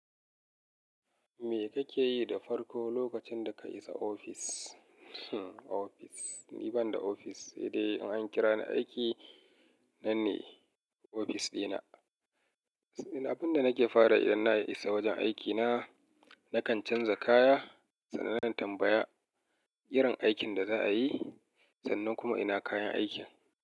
Me kake yi da farko lokacin da ka isa ofis? Hmmm ofis, ni ban da ofis, sai dai in an kira ni aiki nan ne ofis dina. Abin da nake fara idan na isa wajen aikina, nakan canza kaya, sannan na tambaya irin aikin da za a yi sannan kuma ina kayan aikin.